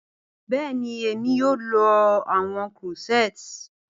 Bẹẹni, Emi yoo lo awọn corsets.